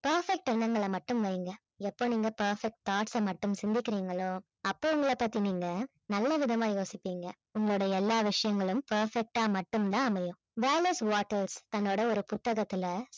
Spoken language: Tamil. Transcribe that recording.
perfect எண்ணங்களை மட்டும் வைங்க எப்ப நீங்க perfect thoughts அ மட்டும் சிந்திக்கிறீங்களோ அப்ப உங்கள பத்தி நீங்க நல்லவிதமா யோசிப்பீங்க உங்களுடைய எல்லா விஷயங்களும் perfect ஆ மட்டும் தான் அமையும் வேலஸ் வாட்டர் தன்னுடைய ஒரு புத்தகத்தில